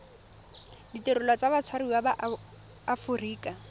ditirelo tsa batshwariwa ba aforika